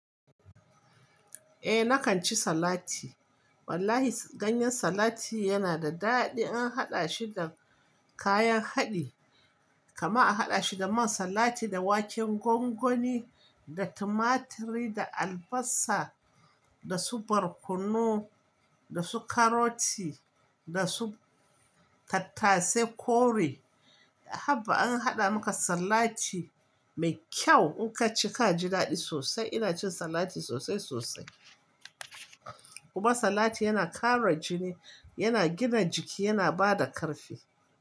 Eh nakan ci salati. Wallahi ganyen salati yana da daɗi in an haɗa shi da kayan haɗi. Kaman a haɗa shi da man salati, da waken gwangwani, da tumaturi, da albasa, da su barkono, da su karoti, da su tattase kore. Haba an haɗa maka salati mai kyau in ka ci ka ji daɗi sosai. Ina cin salati sosai sosai. Kuma salati yana ƙara jini, yana gina jiki, yana ba da ƙarfi.